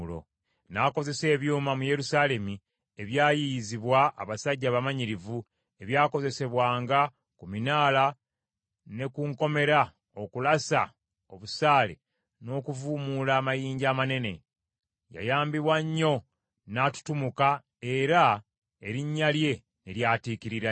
N’akozesa ebyuma mu Yerusaalemi ebyayiyizibwa abasajja abamanyirivu, ebyakozesebwanga ku minaala ne ku nkomera okulasa obusaale n’okuvuumuula amayinja amanene. Yayambibwa nnyo, n’atutumuka era erinnya lye ne lyatiikirira nnyo.